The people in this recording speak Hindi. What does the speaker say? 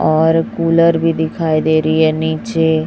और कुलर भी दिखाई दे रही है नीचे--